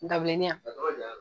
Dabilenni